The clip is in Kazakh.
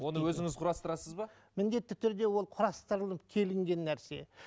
оны өзіңіз құрастырасыз ба міндетті түрде ол құрастырылып келінген нәрсе